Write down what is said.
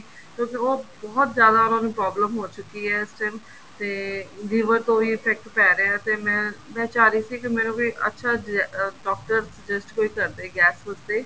ਕਿਉਂਕਿ ਉਹ ਬਹੁਤ ਜਿਆਦਾ ਉਹਨਾ ਨੂੰ problem ਹੋ ਚੁੱਕੀ ਹੈ ਇਸ time ਤੇ liver ਤੇ ਵੀ effect ਪੈ ਰਿਹਾ ਹੈ ਤੇ ਮੈਂ ਮੈਂ ਚਾਹ ਰਹੀ ਸੀ ਕੀ ਮੈਨੂੰ ਵੀ ਇੱਕ ਅੱਛਾ ਜਿਹਾ ਡਾਕਟਰ suggest ਕੋਈ ਕਰਦੇ ਗੈਸ ਵਾਸਤੇ